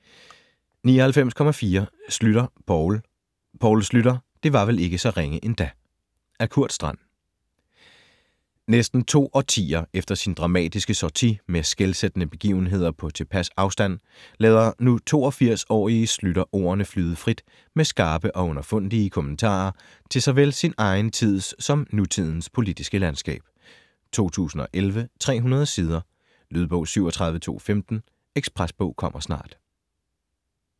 99.4 Schlüter, Poul Poul Schlüter: det var vel ikke så ringe endda -- Af Kurt Strand. Næsten to årtier efter sin dramatiske sortie og med skelsættende begivenheder på tilpas afstand lader nu 82-årige Schlüter ordene flyde frit med skarpe og underfundige kommentarer til såvel sin egen tids som nutidens politiske landskab. 2011, 300 sider. Lydbog 37215 Ekspresbog - kommer snart